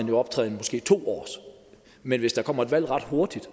jo optjent måske to år men hvis der kommer et valg ret hurtigt